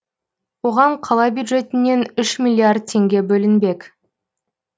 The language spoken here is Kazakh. оған қала бюджетінен үш миллиард теңге бөлінбек